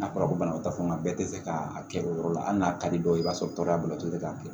A fɔra ko banabagatɔ fan bɛɛ tɛ fɛ k'a kɛ o yɔrɔ la hali n'a ka di dɔw ye i b'a sɔrɔ tɔɔrɔya bato de b'a kɛ